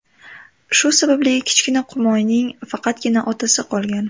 Shu sababli kichkina qumoyning faqatgina otasi qolgan.